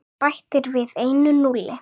Þú bætir við einu núlli.